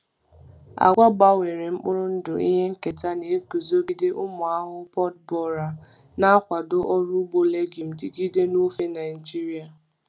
Agwa gbanwere mkpụrụ ndụ ihe nketa na-eguzogide ụmụ ahụhụ pod borer, na-akwado ọrụ ugbo legume dịgide n’ofe Naijiria.